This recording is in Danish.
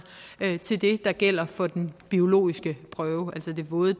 det der gælder for den biologiske prøve altså de våde